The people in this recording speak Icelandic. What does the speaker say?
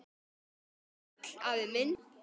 Vertu sæll, afi minn.